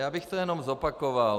Já bych to jenom zopakoval.